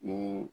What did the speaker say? Ni